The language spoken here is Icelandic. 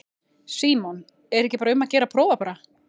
Símon: Er ekki um að gera að prófa bara?